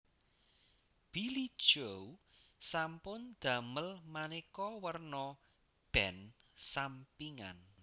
Billie Joe sampun damel maneka wérna band sampingan